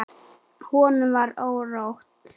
Honum var órótt.